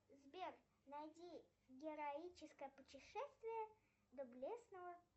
сбер найди героическое путешествие доблестного